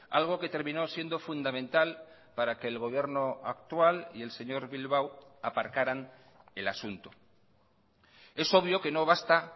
algo que terminó siendo fundamental para que el gobierno actual y el señor bilbao aparcaran el asunto es obvio que no basta